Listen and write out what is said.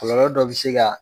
Kɔlɔlɔ dɔ bɛ se ka